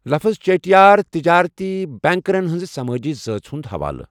لفظ 'چیٹِیار' تِجارتی بینكرن ہنزِ سمٲجی زٲژ ہٗند حوالہٕ ۔